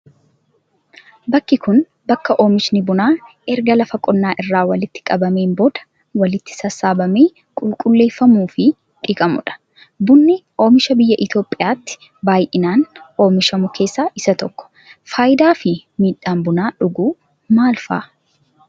Bakki kun, bakka oomishni bunaa erga lafa qonnaa irraa walitti qabameen booda, walitti sassaabamee qulqulleeffamuu fi dhiqamuu dha. Bunni, oomisha biyya Itoophiyaatti baay'inaan oomishamu keessaa isa tokko. Faayidaa fi miidhaan buna dhuguu maal faadha?